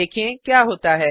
देखें क्या होता है